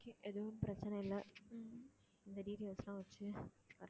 okay எதுவும் பிரச்சனை இல்லை உம் இந்த details எல்லாம் வச்சு